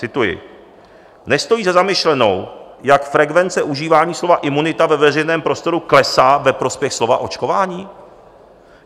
Cituji: "Nestojí za zamyšlenou, jak frekvence užívání slova imunita ve veřejném prostoru klesá ve prospěch slova očkování?